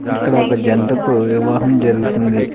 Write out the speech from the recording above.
ఇక్కడ ఒక జంటకు వివాహం జరుగుతుంది.